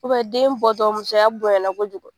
den bɔtɔ musoya bonyana kojugu.